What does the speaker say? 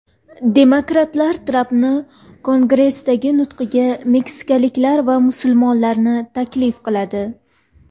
Demokratlar Trampning Kongressdagi nutqiga meksikaliklar va musulmonlarni taklif qiladi.